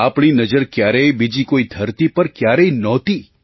આપણી નજર ક્યારેય બીજી કોઈ ધરતી પર ક્યારેય નહોતી